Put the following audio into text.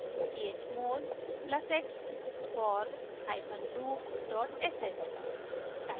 chmod + x forloop sh